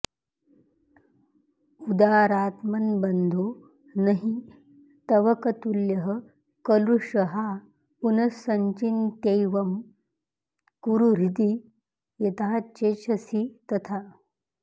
उदारात्मन्बन्धो नहि तवकतुल्यः कलुषहा पुनस्सञ्चिन्त्यैवं कुरु हृदि यथाचेच्छसि तथा